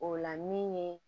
O la min ye